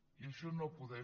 i això no podem